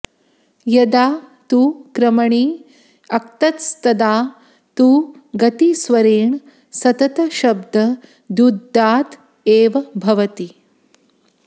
यदा तु क्रमणि क्तस्तदा तु गतिस्वरेण सततशब्द द्युदात्त एव भवति